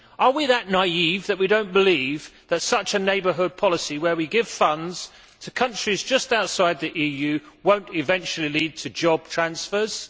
Are we that naïve that we do not believe that such a neighbourhood policy where we give funds to countries just outside the EU will not eventually lead to job transfers?